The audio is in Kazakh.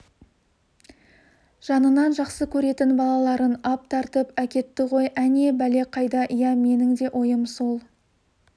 жанынан жақсы көретін балаларын ап тартып әкетті ғой әне бәле қайда иә менің де ойым сол